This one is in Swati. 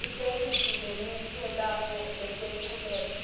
itheksthi lemukelekako leyetfuleke